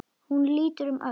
Hún lítur um öxl.